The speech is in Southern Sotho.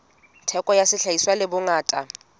theko ya sehlahiswa le bongata